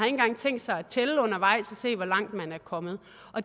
engang tænkt sig at tælle undervejs og se hvor langt man er kommet